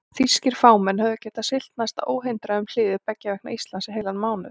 Þýskir farmenn höfðu getað siglt næsta óhindrað um hliðið beggja vegna Íslands í heilan mánuð.